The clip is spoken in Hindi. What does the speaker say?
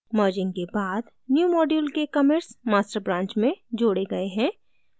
merging के बाद newmodule के commits master branch में जोड़े गए हैं